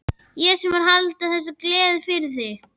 Ég sem var að halda þessa gleði fyrir þig!